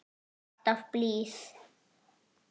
Alltaf blíð.